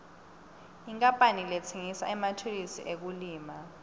inkapani letsengisa emathulusi ekulima